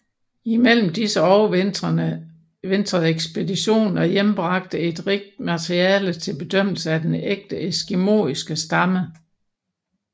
Imellem disse overvintrede ekspeditionen og hjembragte et rigt materiale til bedømmelse af denne ægte eskimoiske stamme